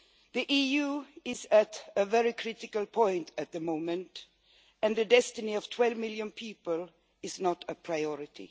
The EU is at a very critical point at the moment, and the destiny of 12 million people is not a priority.